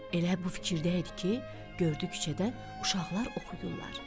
Elə bu fikirdəydi ki, gördü küçədən uşaqlar oxuyurlar.